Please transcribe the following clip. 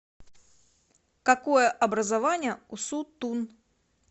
какое образование у су тун